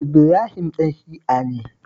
Ibrahim ɗan Shi'a ne